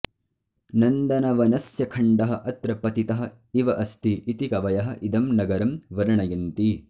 नन्दनवनस्य खण्डः अत्र पतितः इव अस्ति इति कवयः इदं नगरं वर्णयन्ति